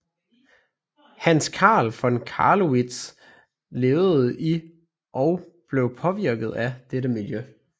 Hans Carl von Carlowitz levedet i og blev påvirket af dette miljø